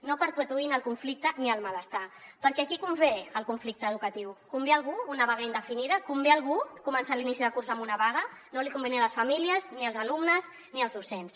no perpetuïn el conflicte ni el malestar perquè a qui convé el conflicte educatiu convé a algú una vaga indefinida convé a algú començar l’inici de curs amb una vaga no els convé ni a les famílies ni als alumnes ni als docents